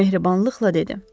O mehribanlıqla dedi.